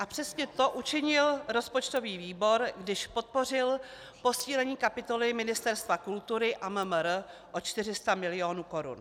A přesně to učinil rozpočtový výbor, když podpořil posílení kapitoly Ministerstva kultury a MMR o 400 milionů korun.